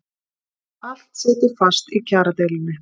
Allt situr fast í kjaradeilunni